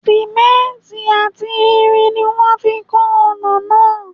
Sìmẹ́ǹtì àti irin ni wọ́n fi ń kọ́ ọ̀nà náà.